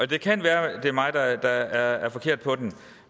det kan være det er mig der er forkert på den